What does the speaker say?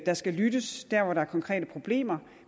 der skal lyttes der hvor der er konkrete problemer